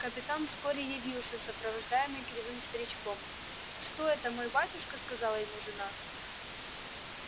капитан вскоре явился сопровождаемый кривым старичком что это мой батюшка сказала ему жена